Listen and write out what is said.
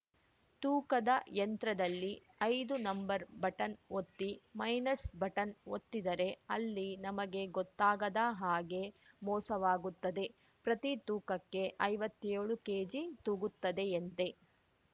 ತೂಕದ ಯಂತ್ರದಲ್ಲಿ ಐದು ನಂಬರ್‌ ಬಟನ್‌ ಒತ್ತಿ ಮೈನಸ್‌ ಬಟನ್‌ ಒತ್ತಿದರೆ ಅಲ್ಲಿ ನಮಗೆ ಗೊತ್ತಾಗದ ಹಾಗೆ ಮೋಸವಾಗುತ್ತದೆ ಪ್ರತಿ ತೂಕಕ್ಕೆ ಐವತ್ತೇಳು ಕೆಜಿ ತೂಗುತ್ತದೆಯಂತೆ